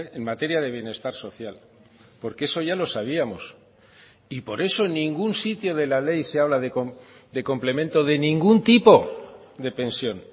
en materia de bienestar social porque eso ya lo sabíamos y por eso en ningún sitio de la ley se habla de complemento de ningún tipo de pensión